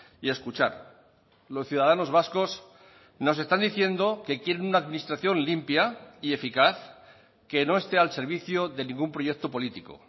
y escuchar los ciudadanos vascos nos están diciendo que quieren una administración limpia y eficaz que no esté al servicio de ningún proyecto político